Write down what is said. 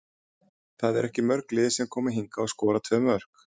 Það eru ekki mörg lið sem koma hingað og skora tvö mörk.